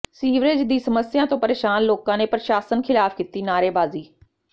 sewerage ਦੀ ਸਮੱਸਿਆ ਤੋਂ ਪਰੇਸ਼ਾਨ ਲੋਕਾਂ ਨੇ ਪ੍ਰਸ਼ਾਸਨ ਖਿਲਾਫ ਕੀਤੀ ਨਾਅਰੇਬਾਜ਼ੀ